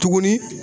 Tuguni